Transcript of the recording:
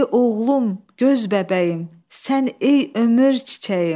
Dedi: oğlum, göz bəbəyim, sən ey ömür çiçəyim!